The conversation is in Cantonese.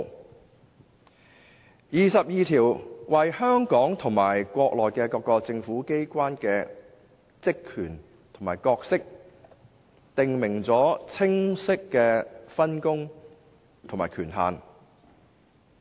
第二十二條為香港和國內各個政府機關的職權和角色，訂明了清晰的分工和權限。